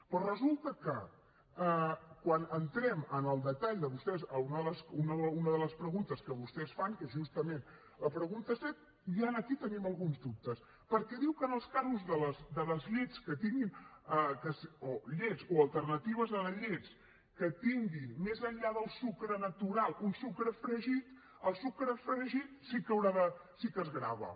però resulta que quan entrem en el detall de vostès a una de les preguntes que vostès fan que és justament la pregunta set ja aquí tenim alguns dubtes perquè diu que en els casos de les llets o alternatives a les llets que tinguin més enllà del sucre natural un sucre afegit el sucre afegit sí que es grava